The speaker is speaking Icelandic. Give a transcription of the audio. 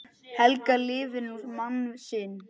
Helga lifir nú mann sinn.